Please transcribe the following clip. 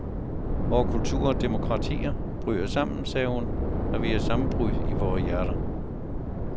Vore kulturer og demokratier bryder sammen, sagde hun, når vi har sammenbrud i vore hjerter.